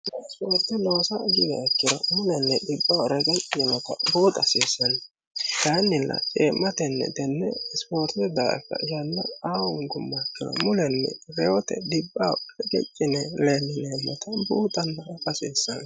ispoorte loosa giwiha ikkiro mulenni dhibbaho regecci yinota buuxa hasiissanno kayinnilla cee'matenni tenne isipoortete daafira yanna aa hongummoha ikkiro mulenni reyote dhibbaho regecc yine leellineemmota buuxanna afa hasiissanno.